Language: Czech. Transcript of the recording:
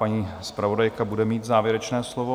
Paní zpravodajka bude mít závěrečné slovo.